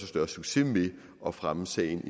større succes med at fremme sagen